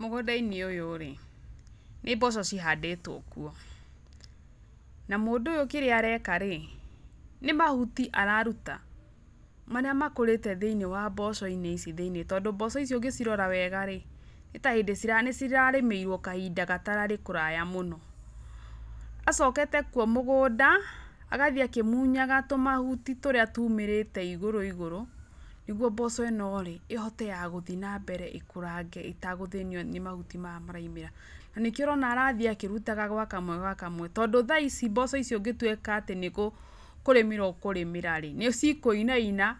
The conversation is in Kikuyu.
Mũgũnda-inĩ ũyũ rĩ, nĩ mboco cihandĩtwo kuo, na mũndũ ũyũ kĩrĩa areka rĩ, nĩ mahuti araruta marĩa makũrĩte thĩiniĩ wa mboco-inĩ ici thĩiniĩ tondũ mboco ici ũngĩcirora wega rĩ, nĩ ta hĩndĩ nĩ cirarĩmĩrwo kahinda gatararĩ kũraya mũno. Acokete kuo mũgũnda, agathiĩ akĩmunyaga tũmahuti tũrĩa tumĩrĩte igũrũ igũrũ, nĩguo mboco ĩ no rĩ ihote ya gũthiĩ na mbere ikũrange itagũthĩnio nĩ mahuti maya maraumĩra, na nĩkĩo ũrona arathiĩ akĩrutaga gwa kamwe gwa kamwe tondũ thaa ici mboco icio ũngĩtuĩka nĩkũrĩmĩra ũkũrĩmĩra nĩ cikũinaina